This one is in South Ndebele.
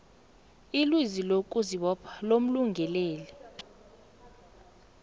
ilizwi lokuzibopha lomlungeleli